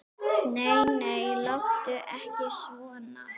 Nei, nei, láttu ekki svona.